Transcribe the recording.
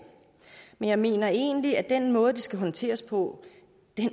men jeg mener egentlig at den måde det skal håndteres på